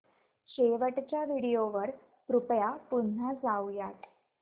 शेवटच्या व्हिडिओ वर कृपया पुन्हा जाऊयात